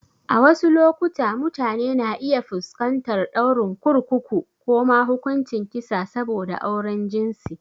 A wasu lokuta, mutane na iya fuskantar ɗaurin kurkuku ko ma hukuncin kisa saboda auren jinsi.